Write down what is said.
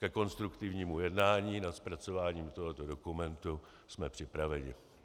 Ke konstruktivnímu jednání na zpracování tohoto dokumentu jsme připraveni.